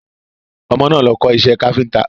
Ọmọ náà lọ kọ́ iṣẹ́ káfíntà.